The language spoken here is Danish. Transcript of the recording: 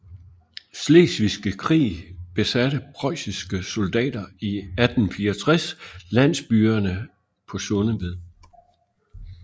Slesvigske Krig besatte preussiske soldater i 1864 landsbyerne på Sundeved